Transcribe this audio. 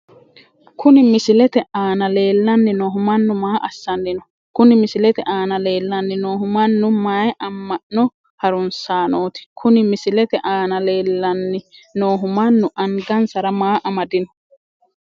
Kuni misilete aana leellanni noohu mannu maa assanni no? Kuni misilete aana leellanni noohu mannu mayi amma'no harunsaanooti? Kuni misilete aana leellanni noohu mannu angansara maa amadino?